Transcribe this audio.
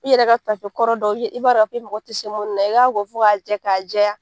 I yɛrɛ ka tafe kɔrɔ dɔw ye i b'a rɔ k'i mɔgɔ ti se mun na i kan k'o fɔ ka jɛ k'a jɛya